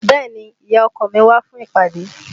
Bẹ́ẹ̀ni, ìyá ọkọ mi wá fún ìpàdé